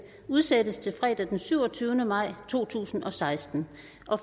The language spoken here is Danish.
udsættes til fredag den syvogtyvende maj to tusind og seksten